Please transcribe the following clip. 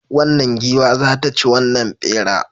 Wannan giwa za ta ci wannan bera